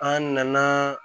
An nana